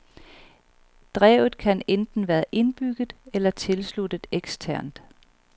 Drevet kan enten være indbygget eller tilsluttes eksternt.